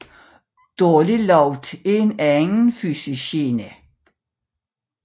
Dårlig lugt er en anden fysisk gene